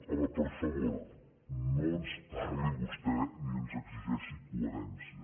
home per favor no ens parli vostè ni ens exigeixi coherència